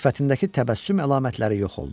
Sifətindəki təbəssüm əlamətləri yox oldu.